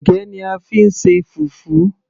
ẹ̀gẹ́ ni a fí ń ṣe fufu